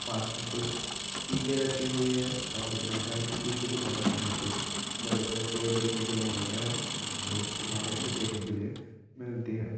पास में कुछ ईटे रखे हुए है और मैदान के पीछे की तरफ हमे कुछ बड़े - बड़े पेड़ देखने के लिए मिलते हैं और एक इमारत भी देखने के लिए मिलती है।